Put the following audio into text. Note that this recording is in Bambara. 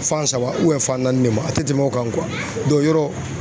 Fan saba fan naani ne ma a tɛ tɛmɛn o kan yɔrɔ